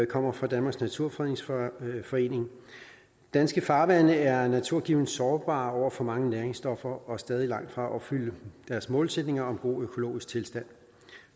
kommer fra danmarks naturfredningsforening danske farvande er naturgivent sårbare overfor for mange næringsstoffer og stadigt langt fra at opfylde deres målsætninger om god økologisk tilstand